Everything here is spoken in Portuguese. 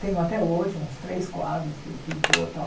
Tenho até hoje uns três quadros que ele pintou tal.